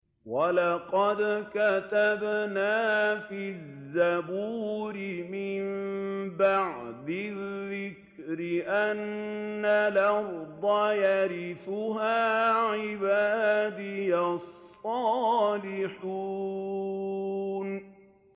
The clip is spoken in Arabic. وَلَقَدْ كَتَبْنَا فِي الزَّبُورِ مِن بَعْدِ الذِّكْرِ أَنَّ الْأَرْضَ يَرِثُهَا عِبَادِيَ الصَّالِحُونَ